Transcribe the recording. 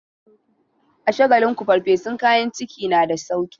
A Shagalinku farfesun kayan ciki na da sauki.